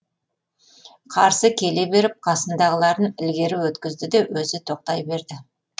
қарсы келе беріп қасындағыларын ілгері өткізді де өзі тоқтай берді